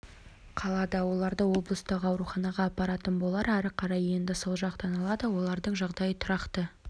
қалады оларды облыстық ауруханаға апаратын болар әрі қарай емді сол жақтан алады олардың жағдайы тұрақты